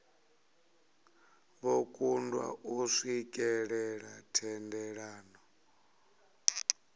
vho kundwa u swikelela thendelano